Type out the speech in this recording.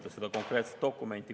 Just seda konkreetset dokumenti.